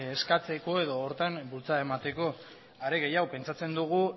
eskatzeko edo horretan bultzada emateko are gehiago pentsatzen dugu